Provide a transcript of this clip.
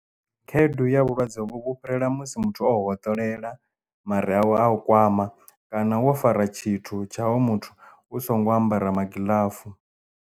Khaedu ya vhulwadze hovho vhu fhirela musi muthu o u hoṱolela mare awe a u kwama kana wo fara tshithu tsha hoyo muthu u songo ambara magiḽafu.